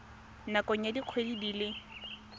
nakong ya dikgwedi di le